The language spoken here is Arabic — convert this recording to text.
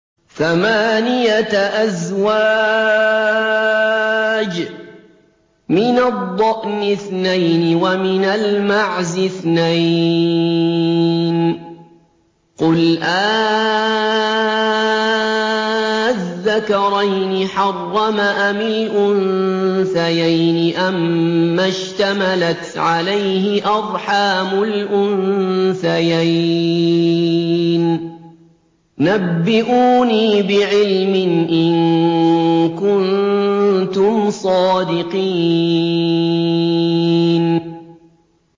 ثَمَانِيَةَ أَزْوَاجٍ ۖ مِّنَ الضَّأْنِ اثْنَيْنِ وَمِنَ الْمَعْزِ اثْنَيْنِ ۗ قُلْ آلذَّكَرَيْنِ حَرَّمَ أَمِ الْأُنثَيَيْنِ أَمَّا اشْتَمَلَتْ عَلَيْهِ أَرْحَامُ الْأُنثَيَيْنِ ۖ نَبِّئُونِي بِعِلْمٍ إِن كُنتُمْ صَادِقِينَ